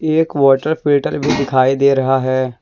एक वाटर पेटर भी दिखाई दे रहा है।